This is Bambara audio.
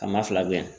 A maa fila bɛ yen